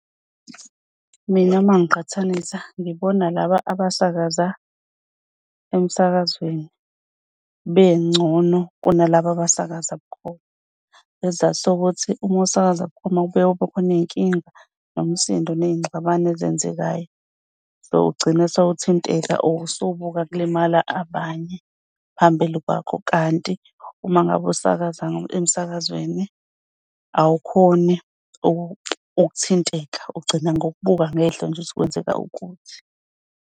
Mina mangiqhathanisa ngibona laba abasakaza emsakazweni bengcono kunalaba abasakaza bukhoma. Isizathu sokuthi ukusakaza bukhoma kubuye kube khona iy'nkinga nomsindo ney'ngxabano ezenzekayo. Sewugcina sewuthinteka usubuka kulimala abanye phambili kwakho. Kanti uma ngabe usakaza emsakazweni awukhoni ukuthinteka ugcina ngokubuka ngehlo nje ukuthi kwenzeka ukuthi.